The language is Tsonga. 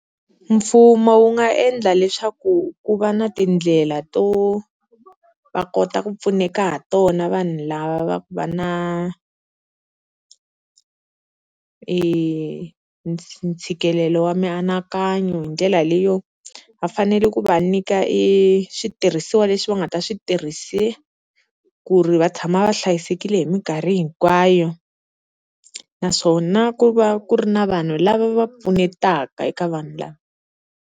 Mfumo wu nga endla leswaku ku va na tindlela to va kota ku pfuneka ha tona vanhu lava va ku va na i ntshikelelo wa mianakanyo, hi ndlela leyo va fanele ku va nyika eswitirhisiwa leswi va nga ta swi tirhisa ku ri va tshama va hlayisekile hi minkarhi hinkwayo, naswona ku va ku ri na vanhu lava va pfunetaka eka vanhu lava.